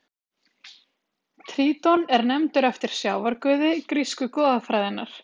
Tríton er nefndur eftir sjávarguði grísku goðafræðinnar.